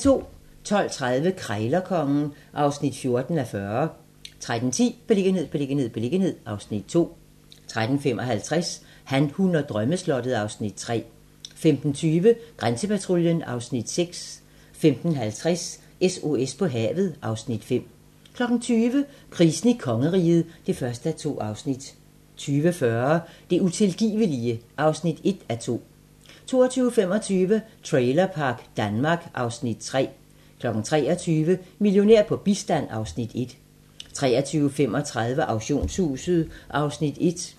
12:30: Krejlerkongen (14:40) 13:10: Beliggenhed, beliggenhed, beliggenhed (Afs. 2) 13:55: Han, hun og drømmeslottet (Afs. 3) 15:20: Grænsepatruljen (Afs. 6) 15:50: SOS på havet (Afs. 5) 20:00: Krisen i kongeriget (1:2) 20:40: Det utilgivelige (1:2) 22:25: Trailerpark Danmark (Afs. 3) 23:00: Millionær på bistand (Afs. 1) 23:35: Auktionshuset (Afs. 1)